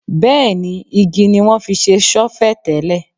Bẹ́ẹ̀ ni, igi ní wọ́n fi se ṣọ́fẹ̀ tẹ́lẹ̀.